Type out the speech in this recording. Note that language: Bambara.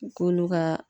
K'olu ka